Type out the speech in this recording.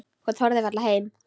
Hún þorði varla heim.